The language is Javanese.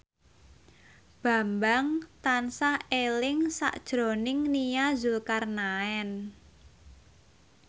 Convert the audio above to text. Bambang tansah eling sakjroning Nia Zulkarnaen